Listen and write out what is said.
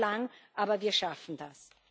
Es dauert lang, aber wir schaffen das.